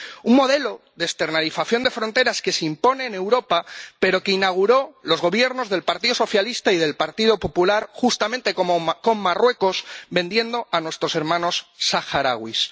Un modelo de externalización de fronteras que se impone en Europa, pero que inauguraron los Gobiernos del Partido Socialista y del Partido Popular justamente con Marruecos vendiendo a nuestros hermanos saharauis.